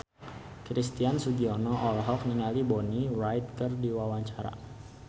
Christian Sugiono olohok ningali Bonnie Wright keur diwawancara